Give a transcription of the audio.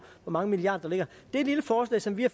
hvor mange milliarder der ligger det lille forslag som vi har